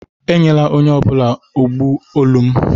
Enyela onye ọ bụla agbụ olu m